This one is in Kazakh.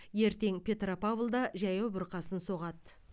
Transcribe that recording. ертең петропавлда жаяу бұрқасын соғады